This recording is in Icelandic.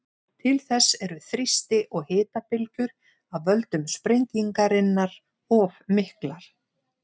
Til þess eru þrýsti- og hitabylgjur af völdum sprengingarinnar of miklar.